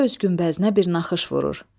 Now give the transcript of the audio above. Hərə öz günbəzinə bir naxış vurur.